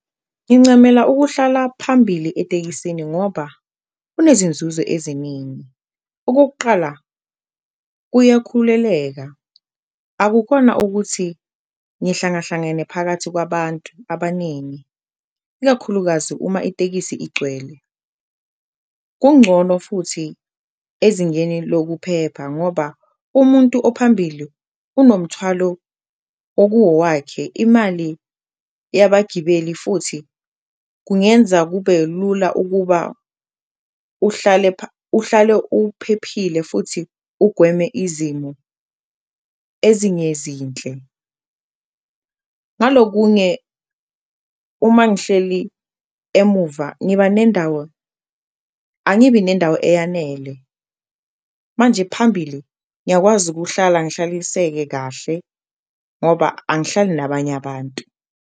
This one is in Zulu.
Ngincamela ukuhlala phambili etekisini ngoba kunezinzuzo eziningi okokuqala kuyakhuleleka akukhona ukuthi ngihlangahlangene phakathi kwabantu abaningi, ikakhulukazi uma itekisi igcwele. Kungcono futhi ezingeni lokuphepha ngoba umuntu ophambili unomthwalo okuwowakhe imali yabagibeli futhi kungenza kube lula ukuba uhlale uphephile futhi ugweme izimo ezingezinhle. Ngalokunye uma ngihleli emuva, angibi nendawo eyanele manje phambili ngiyakwazi ukuhlala ngihlaliseke kahle ngoba angihlali nabanye abantu.